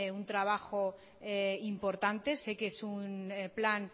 un trabajo importante sé que es un plan